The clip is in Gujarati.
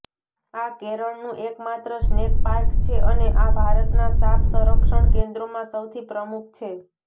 આ કેરળનું એકમાત્ર સ્નેક પાર્ક છે અને આ ભારતના સાપ સંરક્ષણ કેન્દ્રોમાં સૌથી પ્રમુખ છે